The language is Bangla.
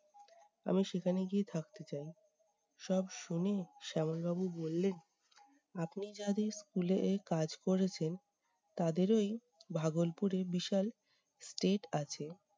আমি সেখানে গিয়ে থাকতে চাই। সব শুনে শ্যামল বাবু বললেন- আপনি যাদের school এ কাজ করেছেন, তাদেরই ভাগলপুরে বিশাল state আছে।